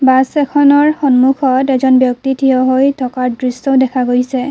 Bus এখনৰ সন্মুখত এজন ব্যক্তি থিয় হৈ থকাৰ দৃশ্যও দেখা গৈছে।